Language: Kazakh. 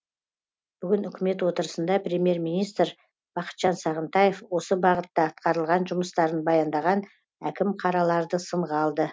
бүгін үкімет отырысында премьер министр бақытжан сағынтаев осы бағытта атқарылған жұмыстарын баяндаған әкім қараларды сынға алды